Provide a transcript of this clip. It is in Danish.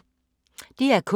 DR K